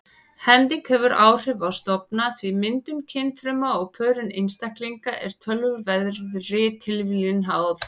Hending hefur áhrif á stofna því myndun kynfruma og pörun einstaklinga er töluverðri tilviljun háð.